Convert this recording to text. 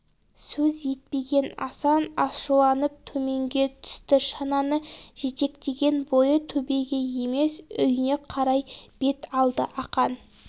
сөз етпеген асан ашуланып төменге түсті шананы жетектеген бойы төбеге емес үйіне қарай бет алды ақан